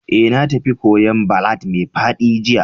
Eh, na tafi kwoyo'n ballad mai faɗi jiya.